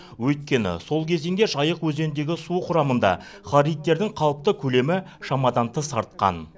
өйткені сол кезеңде жайық өзеніндегі су құрамында хлоридтердің қалыпты көлемі шамадан тыс артқан